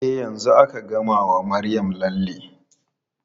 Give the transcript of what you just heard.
E, yanzu aka gama wa Maryam lalle.